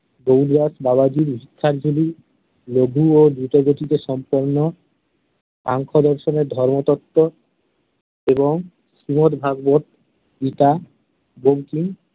গৌরদাস বাবাজির ভিক্ষার ঝুলি, নদী ও দ্রুতগতিতে সম্পন্ন সাংখ্যদর্শনে ধর্মতত্ত্ব এবং শ্রীমদভাগবত গীতা বঙ্কিম